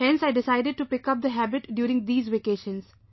Therefore I decided to pick up the habit during vacations